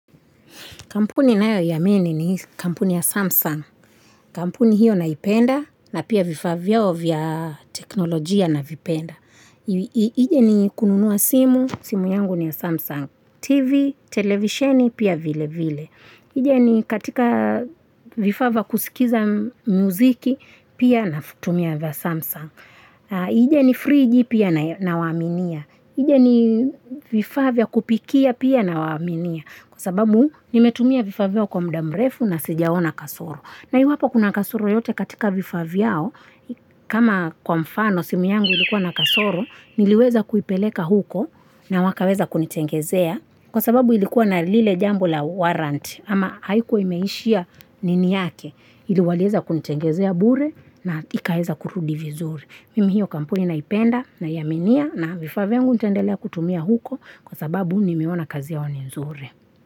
Kampuni ninayo iaminini ni kampuni ya Samsung. Kampuni hiyo naipenda na pia vifaa vyao vya teknolojia na vipenda. Ije ni kununua simu, simu yangu ni ya Samsung. TV, televisioni, pia vile vile. Ije ni katika vifaaa vya kusikiza muziki, pia nafutumia vya Samsung. Ije ni FreeG pia na waminia. Ije ni vifaa vya kupikia pia nawaminia kwa sababu nimetumia vifaa vyao kwa mda mrefu na sijaona kasoro. Na hiu hapa kuna kasoro yote katika vifavyao kama kwa mfano simu yangu ilikuwa na kasoro niliweza kuipeleka huko na wakaweza kunitengezea kwa sababu ilikuwa na lile jambo la warrant ama haikuwa imeishia nini yake iliwaliweza kunitengezea bure na ikaweza kurudi vizuri. Mimi hiyo kampuni naipenda naiaminia na vifaa vyangu nitaendelea kutumia huko kwa sababu nimeonaa kazi yao ni nzuri.